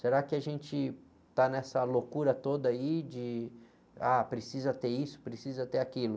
Será que a gente está nessa loucura toda aí de, ah, precisa ter isso, precisa ter aquilo?